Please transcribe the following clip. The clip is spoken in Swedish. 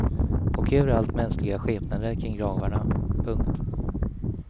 Och överallt mänskliga skepnader kring gravarna. punkt